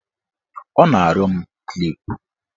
Ọ na-arịọ m klip